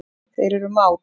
Þeir eru mát.